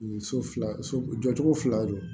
So fila so jɔ cogo fila don